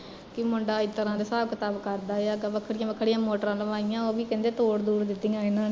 ਕੀ ਮੁੰਡਾ ਏਸ ਤਰਾ ਦੇ ਹਿਸਾਬ ਕਿਤਾਬ ਕਰਦਾ ਆ ਵੱਖਰੀਆਂ ਵੱਖਰੀਆਂ ਮੋਟਰਾਂ ਲਵਾਈਆ ਤੇ ਓਹ ਵੀ ਕਹਿੰਦੇ ਤੋੜ ਤੂੜ੍ ਦਿੱਤੀਆ ਇਹਨਾਂ ਨੇ